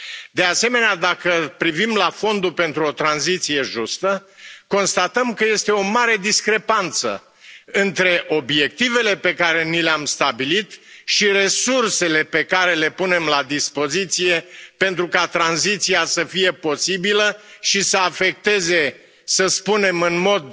De asemenea, dacă privim la Fondul pentru o tranziție justă, constatăm că este o mare discrepanță între obiectivele pe care ni le am stabilit și resursele pe care le punem la dispoziție pentru ca tranziția să fie posibilă și să afecteze, să spunem în mod